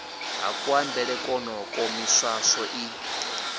ha kuambele kwonokwo miswaswo i